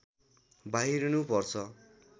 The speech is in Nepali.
बाहिरिनु पर्छ